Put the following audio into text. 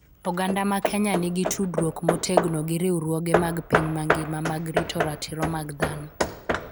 Oganda ma Kenya nigi tudruok motegno gi riwruoge mag piny mangima mag rito ratiro mag dhano.